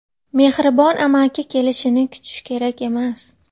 Mehribon amaki kelishini kutish kerak emas.